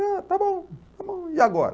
Está bom, está bom, e agora?